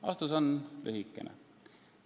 Vastus on lühikene.